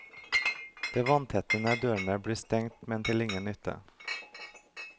De vanntette dørene blir stengt men til ingen nytte.